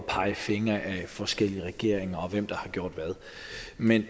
pege fingre ad forskellige regeringer hvem der har gjort hvad men